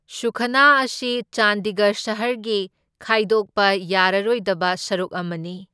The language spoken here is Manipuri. ꯁꯨꯈꯅꯥ ꯑꯁꯤ ꯆꯥꯟꯗꯤꯒꯔ ꯁꯍꯔꯒꯤ ꯈꯥꯏꯗꯣꯛꯄ ꯌꯥꯔꯔꯣꯏꯗꯕ ꯁꯔꯨꯛ ꯑꯃꯅꯤ꯫